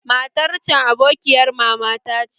Matar can abokiyar mama ta ce